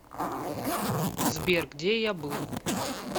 сбер где я был